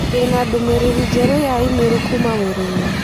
Ndĩ na ndũmĩrĩri njerũ ya i-mīrū kuuma wĩra-inĩ